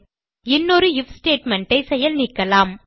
இன்னொரு IF statement ஐ செயல் நீக்கலாம்